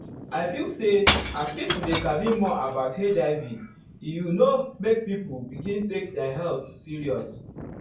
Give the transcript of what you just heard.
i feel say as people dey sabi more about hiv e you know make people begin take their health serious.